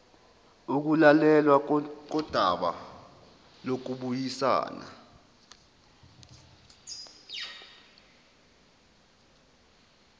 ukulalelwa kodaba lokubuyisana